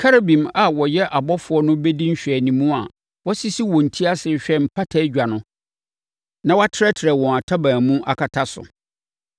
Kerubim a wɔyɛ abɔfoɔ no bɛdi nhwɛanimu a wɔasisi wɔn ti ase rehwɛ mpatadwa no na wɔatrɛtrɛ wɔn ntaban mu akata so.